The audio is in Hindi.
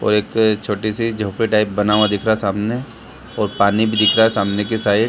और एक छोटी सी झोपडी टाइप बना हुआ दिख रहा है सामने और पानी भी दिख रहा है सामने की साइड --